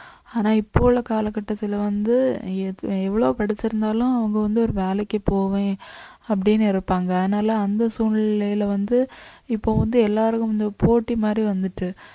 ஆனா இப்ப உள்ள கால கட்டத்துல வந்து எ~ எவ்வளவு படிச்சிருந்தாலும் அவங்க வந்து ஒரு வேலைக்கு போவேன் அப்படியே அப்படீன்னு இருப்பாங்க அதனால அந்த சூழ்நிலையில வந்து இப்ப வந்து எல்லாரும் வந்து போட்டி மாதிரி வந்துட்டு